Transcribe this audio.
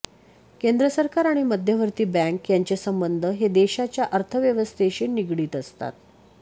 केंद्र सरकार आणि मध्यवर्ती बँक यांचे संबंध हे देशाच्या अर्थव्यवस्थेशी निगडित असतात